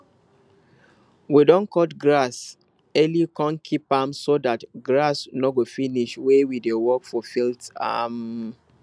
we don cut grass early kon keep am so dat grass no go finish when we dey work for field um